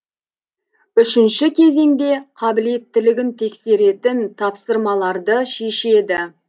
үшінші кезеңде қабілеттілігін тексеретін тапсырмаларды шешеді